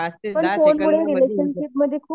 रिलेशनशिपमध्ये खूप